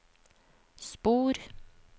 spor